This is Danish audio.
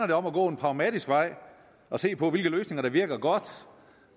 det om at gå en pragmatisk vej og se på hvilke løsninger der virker godt